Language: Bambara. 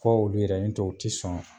Fɔ olu yɛrɛ n'o tɛ o ti sɔn